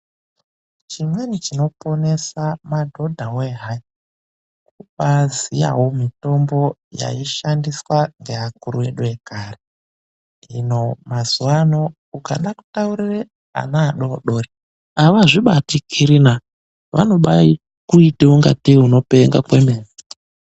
Chimweni chinoponesa madhodha wee hai, kubaaziyawo mitombo yaishandiswa ngeakuru edu ekare. Hino mazuwa ano ukada kutaurire ana adoodori, avazvibatikiri na! Vanobaakuite ungatei unopenga kwemene.